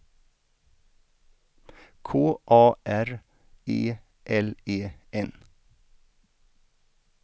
K A R E L E N